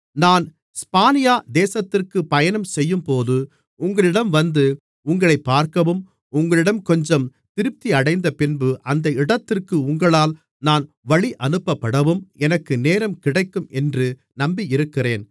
நான் ஸ்பானியா தேசத்திற்கு பயணம்செய்யும்போது உங்களிடம் வந்து உங்களைப் பார்க்கவும் உங்களிடம் கொஞ்சம் திருப்தியடைந்தபின்பு அந்த இடத்திற்கு உங்களால் நான் வழியனுப்பப்படவும் எனக்கு நேரம் கிடைக்கும் என்று நம்பியிருக்கிறேன்